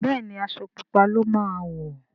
Béèni Aṣọ pupa ló má wọ.